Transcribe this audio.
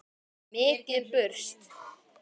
Mikið burst.